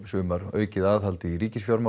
aukið aðhald í